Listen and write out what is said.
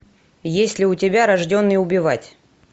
есть ли у тебя рожденный убивать